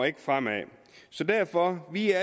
ikke fremad derfor er